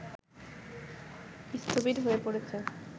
স্থবির হয়ে পড়েছে